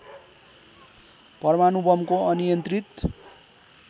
परमाणु बमको अनियन्त्रित